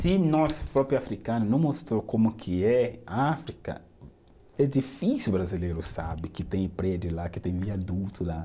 Se nosso próprio africano não mostrou como que é a África, é difícil o brasileiro saber que tem prédio lá, que tem viaduto lá.